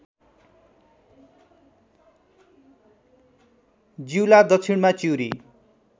जिउला दक्षिणमा चिउरी